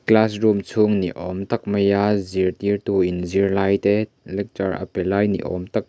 class room chhung ni awm tak maia zirtirtuin zirlai te lecture a pe lai ni awm tak.